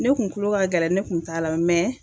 Ne kun kulo ka gɛlɛn ne kun t'a lamɛn mɛ